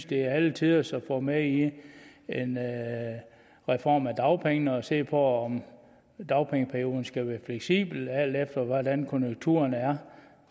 det er alle tiders at få med i en reform af dagpengene at vi ser på om dagpengeperioden skal være fleksibel alt efter hvordan konjunkturerne er